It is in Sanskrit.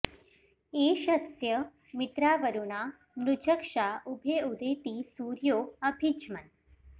एष स्य मित्रावरुणा नृचक्षा उभे उदेति सूर्यो अभि ज्मन्